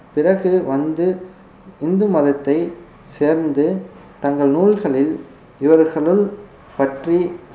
பிறகு வந்து இந்து மதத்தை சேர்ந்து தங்கள் நூல்களில் இவர்களுள் பற்றி